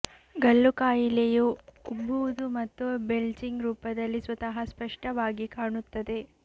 ಗಲ್ಲು ಕಾಯಿಲೆಯು ಉಬ್ಬುವುದು ಮತ್ತು ಬೆಲ್ಚಿಂಗ್ ರೂಪದಲ್ಲಿ ಸ್ವತಃ ಸ್ಪಷ್ಟವಾಗಿ ಕಾಣುತ್ತದೆ